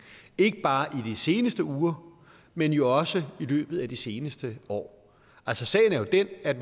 ikke bare i de seneste uger men jo også i løbet af de seneste år altså sagen er jo den at